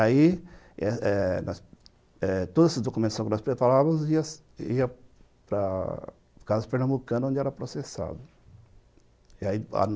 Aí, eh eh eh todas as documentações que nós preparávamos iam para Casas Pernambucana, onde era processado. E aí